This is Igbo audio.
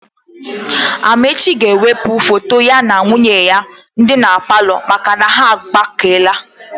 Amaechi ga-ewepụ foto ya na nwunye ya dị na palọ maka na ha agbakeela.